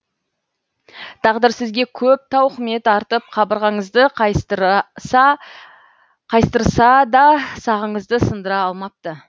тағдыр сізге көп тауқымет артып қабырғаңызды қайыстырса да сағыңызды сындыра алмапты